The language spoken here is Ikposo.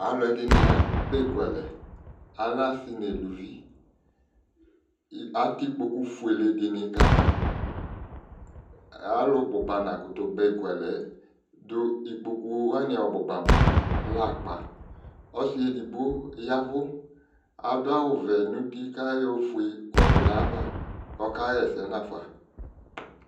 Alʋɛdɩnɩ aba ekualɛ, alɛ asɩ n'ɛluvi, atɛ ikpoku fuele dɩnɩ kama Alʋ bʋba nakʋtʋ ba ekualɛ yɛ dʋ ikpoku wanɩ ɔbʋba mua lɛ akpa Ɔsɩ edigbo yavʋ adʋ awʋ vɛ n'uti k'ayɔ ofue kɔdʋ n'ayava k'ɔka ɣɛsɛ n'afa